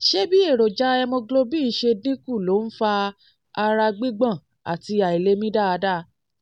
ṣé bí èròjà hemoglobin ṣe dín kù ló ń ń fa ara gbígbọ̀n àti àìlèmí dáadáa?